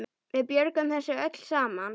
Við björgum þessu öllu saman.